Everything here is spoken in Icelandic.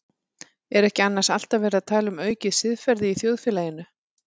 Er ekki annars alltaf verið að tala um aukið siðferði í þjóðfélaginu?